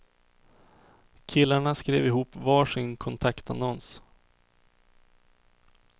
Killarna skrev ihop var sin kontaktannons.